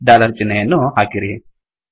dollar ಚಿಹ್ನೆಯನ್ನೂ ಹಾಕಿರಿ